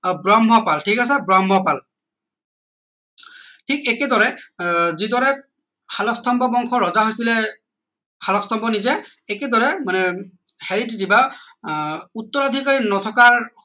ব্ৰহ্মপাল ঠিক আছে ব্ৰহ্মপাল ঠিক একেদৰে আহ যিদৰে শালস্তম্ভ বংশৰ ৰজা হৈছিলে শালস্তম্ভ নিজেই একেদৰে মানে আহ উত্তৰাধিকাৰী নথকাৰ